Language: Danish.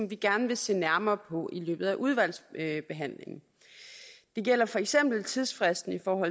vi gerne vil se nærmere på i løbet af udvalgsbehandlingen det gælder for eksempel tidsfristen for